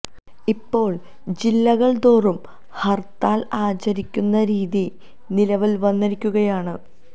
ഇപ്പോള് ജില്ലകള് തോറും ഹര് ത്താല് ആചരിക്കുന്ന രീതി നിലവില് വന്നിരിക്കുകയാണ്